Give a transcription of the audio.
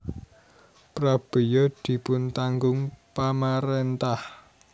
Prabéya dipuntanggung pamaréntah